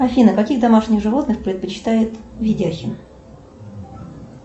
афина каких домашних животных предпочитает видяхин